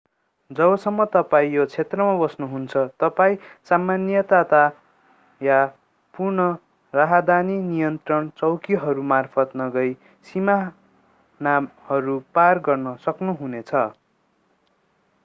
जबसम्म तपाईं यो क्षेत्रमा बस्नुहुन्छ तपाईं सामान्यतया पुन राहदानी नियन्त्रण चौकिहरू मार्फत नगइ सीमानाहरू पार गर्न सक्नुहुनेछ